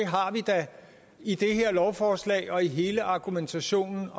i det her lovforslag og i hele argumentationen